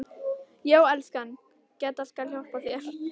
Já, elskan, Gedda skal hjálpa þér